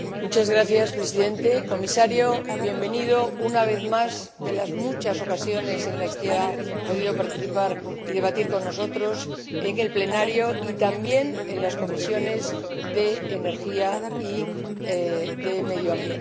Señor Presidente. Comisario, bienvenido una vez más de las muchas ocasiones en las que ha podido participar y debatir con nosotros en el Pleno y también en las Comisiones de Energía y de Medio Ambiente.